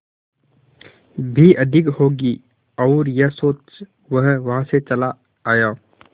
भी अधिक होगी और यह सोच वो वहां से चला आया